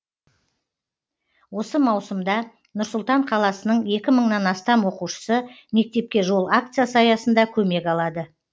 осы маусымда нұр сұлтан қаласының екі мыңнан астам оқушысы мектепке жол акциясы аясында көмек алады